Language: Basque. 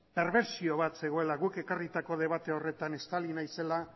perbertsio bat zegoela guk ekarritako debate horretan estali nahi zela